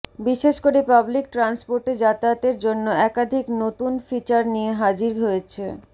বিশেষ করে পাবলিক ট্রান্সপোর্টে যাতায়াতের জন্য একাধিক নতুন ফিচার নিয়ে হাজির হয়েছে